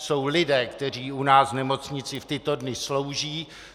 Jsou lidé, kteří u nás v nemocnici v tyto dny slouží.